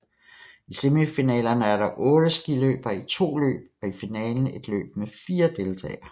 I semifinalerne er der 8 skiløbere i 2 løb og i finalen et løb med 4 deltagere